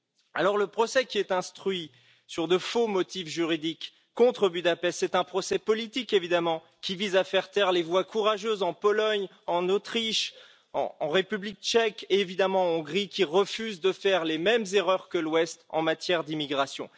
Alors le procès qui est instruit, sur de faux motifs juridiques, contre Budapest, c'est un procès politique évidemment, qui vise à faire taire les voix courageuses en Pologne, en Autriche, en République tchèque et évidemment en Hongrie, qui refusent de faire les mêmes erreurs que l'Ouest en matière d'immigration.